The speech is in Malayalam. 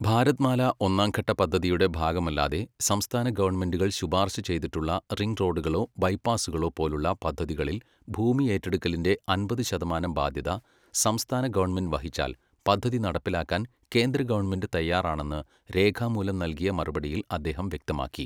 ഭാരത്മാല ഒന്നാംഘട്ട പദ്ധതിയുടെ ഭാഗമല്ലാതെ സംസ്ഥാന ഗവണ്മെന്റുകൾ ശുപാർശ ചെയ്തിട്ടുള്ള റിംഗ്റോഡുകളോ, ബൈപാസ്സുകളോ പോലുള്ള പദ്ധതികളിൽ ഭൂമി ഏറ്റെടുക്കലിന്റെ അൻപത് ശതമാനം ബാധ്യത സംസ്ഥാന ഗവണ്മെന്റ് വഹിച്ചാൽ പദ്ധതി നടപ്പിലാക്കാൻ കേന്ദ്ര ഗവണ്മെന്റ് തയ്യാറാണെന്ന് രേഖാമൂലം നല്കിയ മറുപടിയിൽ അദ്ദേഹം വ്യക്തമാക്കി.